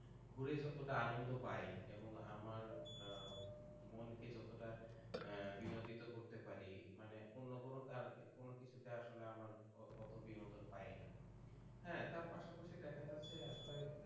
ঘুরে যতটা আনন্দ পায়ে এবং আমার মনকে যতটা বিনোদিত করতে পার মানে অন্য কোন কিছুতে আমার অত বিনোদন পাই না হ্যাঁ তার পাশাপাশি দেখা গেছে আসলে